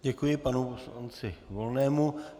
Děkuji panu poslanci Volnému.